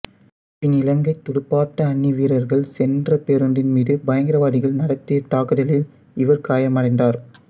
பின் இலங்கைத் துடுப்பாட்ட அணி வீரர்கள் சென்ற பேருந்தின் மீது பயங்கரவாதிகள் நடத்திய தாக்குதலில் இவர் காயமடைந்தார்